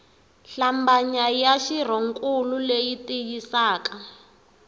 hlambanya ya xirhonkulu leyi tiyisisaka